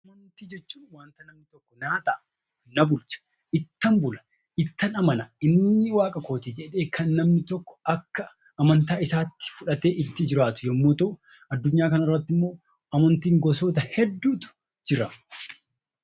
Amantaa namni ittan bula ittan amana inni waaqa kooti jedhee kan namni tokko akka amantaa isaatti fudhatee itti jiraatu yommuu ta'u, addunyaa kanarratti immoo amantiin gosoota hedduutu jira.